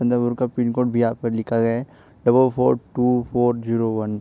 चंद्रपुर का पिनकोड भी यहां पर लिखा गया है double four two four zero one.